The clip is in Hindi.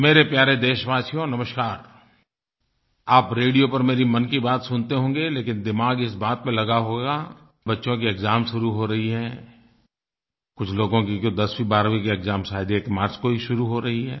मेरे प्यारे देशवासियो नमस्कार आप रेडियो पर मेरी मन की बात सुनते होंगे लेकिन दिमाग इस बात पर लगा होगा बच्चों के एक्साम शुरू हो रहे हैं कुछ लोगों के दसवींबारहवीं के एक्साम शायद 1 मार्च को ही शुरू हो रहे हैं